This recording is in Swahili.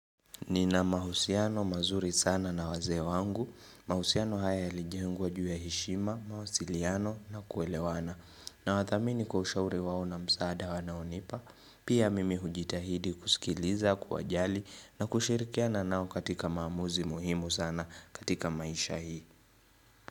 Nina mahusiano mazuri sana na wazee wangu, mahusiano haya yalijengwa juu ya heshima, mawasiliano na kuelewana. Nawathamini kwa ushauri wao na msaada wanaonipa, pia mimi hujitahidi kusikiliza, kuwajali na kushirikiana nao katika maamuzi muhimu sana katika maisha hii.